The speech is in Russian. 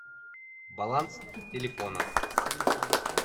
баланс телефона